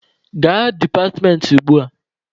Gaa departmentị gị ugbua!